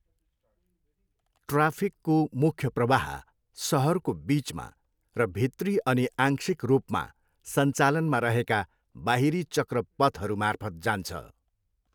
ट्राफिकको मुख्य प्रवाह सहरको बिचमा र भित्री अनि आंशिक रूपमा सञ्चालनमा रहेका बाहिरी चक्रपथहरू मार्फत् जान्छ।